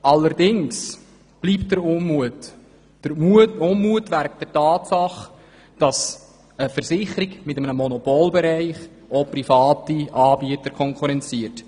Bestehen bleibt jedoch der Unmut über die Tatsache, dass eine Versicherung mit einem Monopol private Anbieter konkurrenziert.